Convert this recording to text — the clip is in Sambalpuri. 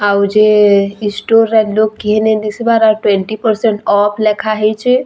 ଆଉ ଯେ ଇ ଷ୍ଟୋର୍ ରେ ଲୋକ୍ କେହି ନି ଦିଶିବାର୍ ଆଉ ଟ୍ୱେଣ୍ଟୀ ପର୍ସେଣ୍ଟ ଅଫ୍ ଲେଖା ହେଇଛେ ଆଉ ।